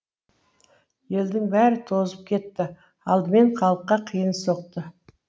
елдің бәрі тозып кетті алдымен халыққа қиын соқты